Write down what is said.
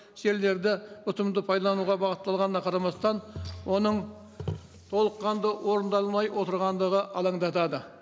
жерлерді ұтымды пайдалануға бағытталғанына қарамастан оның толыққанды орындалмай отырғандығы алаңдатады